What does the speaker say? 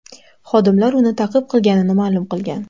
Xodimlar uni ta’qib qilganini ma’lum qilgan.